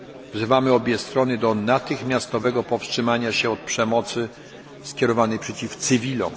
Wzywamy obie strony do natychmiastowego powstrzymania się od przemocy skierowanej przeciw cywilom.